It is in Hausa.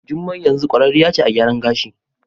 Jumai yanzu kwararriya ce a gyaran gashi.